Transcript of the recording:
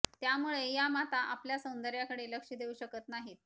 त्यामुळे या माता आपल्या सौंदर्याकडे लक्ष देऊ शकत नाहीत